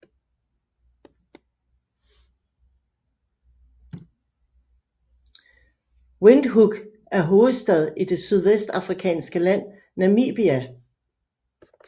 Windhoek er hovedstad i det sydvestafrikanske land Namibia